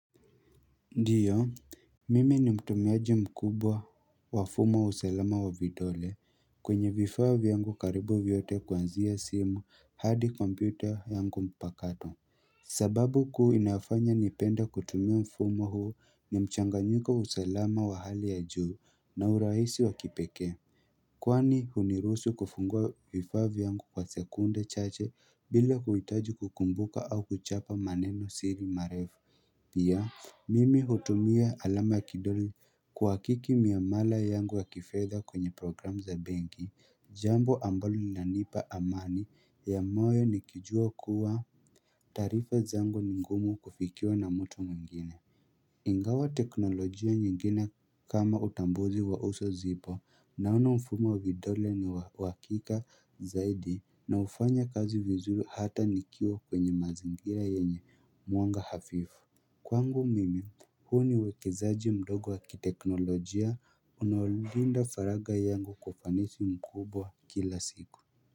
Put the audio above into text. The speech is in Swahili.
Ndiyo, mimi ni mtumiaji mkubwa wa fumo wa usalama wa vidole kwenye vifaa vyangu karibu vyote kuanzia simu hadi kompyuta yangu mpakato sababu kuu inayofanya nipende kutumia mfumo huu ni mchanganyiko wa usalama wa hali ya juu na urahisi wa kipekee Kwani huniruhusu kufungua vifaa vyangu kwa sekunde chache bila kuhitaji kukumbuka au kuchapa maneno siri marefu Pia mimi hutumia alama ya kidole kuhakiki miamala yangu ya kifedha kwenye programme za benki, jambo ambalo linanipa amani ya moyo nikijua kuwa taarifa zangu ni ngumu kufikiwa na mtu mwingine. Ingawa teknolojia nyingine kama utambuzi wa uso zipo na ufumo vidole ni wa uhakika zaidi na hufanya kazi vizuri hata nikiwa kwenye mazingira yenye mwanga hafifu. Kwangu mimi huu ni uwekezaji mdogo wa kiteknolojia unaolinda faraga yangu kwa ufanisi mkubwa kila siku.